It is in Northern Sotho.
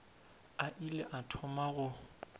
a ile a thoma go